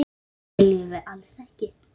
Það viljum við alls ekki.